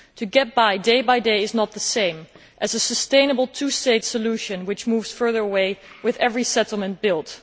Getting by on a day by day basis is not the same as a sustainable two state solution, which moves further away with every settlement built.